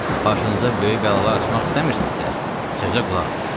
Başınıza böyük bəlalar açmaq istəmirsizsə, sözə qulaq asın.”